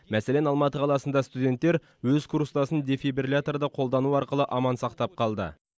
мәселен алматы қаласында студенттер өз курстасын дефибрилляторды қолдану арқылы аман сақтап қалды